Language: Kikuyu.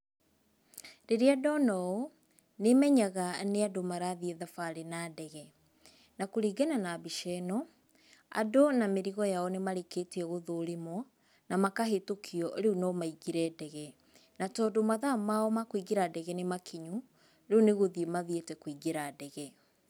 Rĩrĩa ndona ũũ, nĩ menyaga nĩ andũ marathiĩ thabarĩ na ndege. Na kũringana na mbica ĩno, andũ na mĩrigo yao nĩ marĩkĩtie gũthũrimwo, na makahĩtũkio rĩu no maingĩre ndege. Na tondũ mathaa mao ma kwĩngĩra ndege nĩ makinyu, rĩu nĩ gũthiĩ mathiĩte kũingĩra ndege.